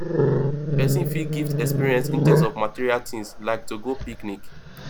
persin fit gift experience instead of material things like to go picnic